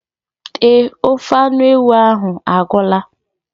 Eé, ofe anụ ewu ahụ agwụla.